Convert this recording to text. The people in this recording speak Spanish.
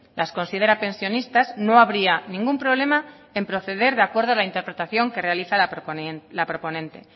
las considera pensionistas no habría ningún problema en proceder de acuerdo a la interpretación que realiza la proponente